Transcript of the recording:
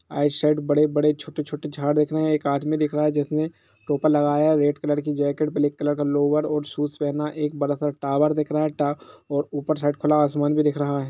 आइ side बड़े- बड़े छोटे- छोटे झाड़ दिख रहे है एक आदमी दिख रहा है जिसने टोपा लगाया रेड कलर की जैकेट ब्लैक कलर की लोअर और शूज पहना एक एक बड़ा सा टावर दिख रहा है टा-और ऊपर साइड खुला आसमान भी दिख रहा है।